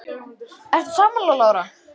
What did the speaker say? Magnús Hlynur Hreiðarsson: Ertu sammála Lára?